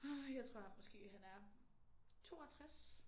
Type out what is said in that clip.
Åh jeg tror måske han er 62